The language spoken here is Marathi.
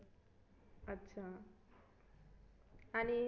अच्छा आणि